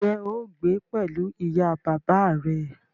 Ǹjẹ́ o óò gbé pẹ̀lú ìyá bàbá à rẹ?